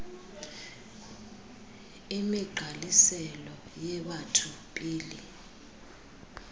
imigqaliselo yebatho pele